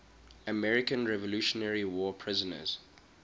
american revolutionary war prisoners